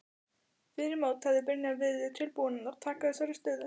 Fyrir mót hefði Brynjar verið tilbúinn að taka þessari stöðu?